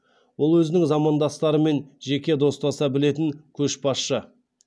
ол өзінің замандастарымен жеке достаса білетін көшбасшы